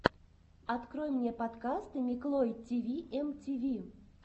открой мне подкасты миклой тиви эм ти ви